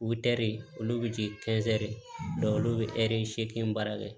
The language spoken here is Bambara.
Utɛri olu bɛ di olu bɛ ɛri seegin baara kɛ